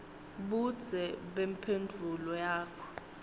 budze bemphendvulo yakho